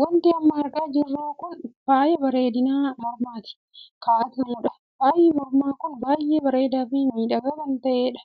Wanti amma argaa jirru kun faaya bareedinaa mormatti kaa'atamuudha. faayyi mormaa kun baay'ee bareedaa fi miidhagaa kan kan taheedha.